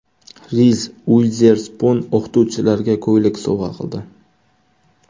Riz Uizerspun o‘qituvchilarga ko‘ylak sovg‘a qildi.